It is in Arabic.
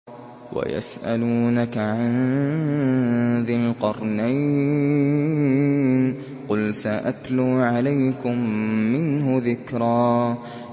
وَيَسْأَلُونَكَ عَن ذِي الْقَرْنَيْنِ ۖ قُلْ سَأَتْلُو عَلَيْكُم مِّنْهُ ذِكْرًا